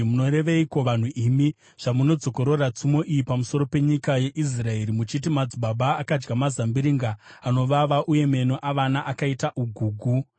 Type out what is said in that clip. “Munoreveiko vanhu imi zvamunodzokorora tsumo iyi pamusoro penyika yeIsraeri, muchiti, “ ‘Madzibaba akadya mazambiringa anovava, meno avana akaita ugugu’?